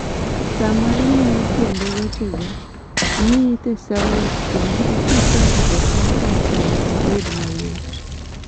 sama imiyo tiende wechego, miyi thesaurus kendo iti kode e sentens mondo obed mayot